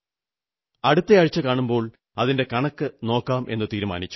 അടുത്തയാഴ്ച കാണുമ്പോൾ അതിന്റെ കണക്കു നോക്കാമെന്നു തീരുമാനിച്ചു